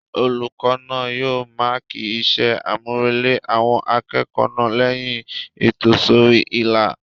Olùkọ́ náà yóò máàkì iṣẹ́-àmúrelé àwọn akẹ́kọ̀ọ́ náà lẹ́yìn ìtòsórí-ìlà